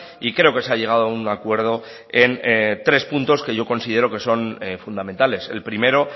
y creo que se ha llegado a un acuerdo en tres puntos que yo considero que son fundamentales el primero